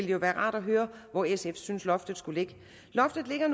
jo være rart at høre hvor sf synes loftet skal ligge loftet ligger